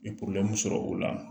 I sɔrɔ o la